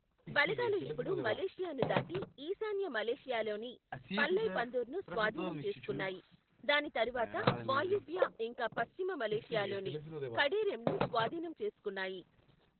బలగాలు ఇప్పుడు మలేషియాను దాటి, ఈశాన్య మలేషియాలోని వల్లైపందూర్ను స్వాధీనం చేసుకున్నాయి, దాని తరువాత వాయువ్య ఇంకా పశ్చిమ మలేషియాలోని కడరెమ్ను స్వాధీనం చేసుకున్నాయి.